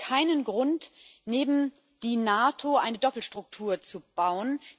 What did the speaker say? Es gibt keinen Grund, neben der NATO eine Doppelstruktur zu bauen.